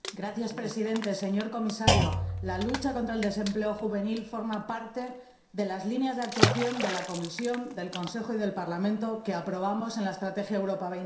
Señor Presidente, señor Comisario, la lucha contra el desempleo juvenil forma parte de las líneas de actuación de la Comisión, del Consejo y del Parlamento que aprobamos en la Estrategia Europa